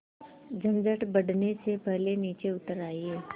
झंझट बढ़ने से पहले नीचे उतर आइए